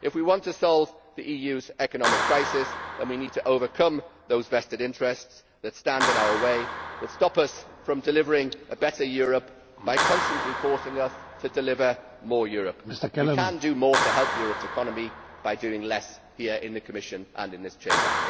If we want to solve the EU's economic crisis then we need to overcome those vested interests that stand in our way, that stop us from delivering a better Europe by constantly forcing us to deliver more Europe. We can do more to help Europe's economy by doing less here in the Commission and in this Chamber.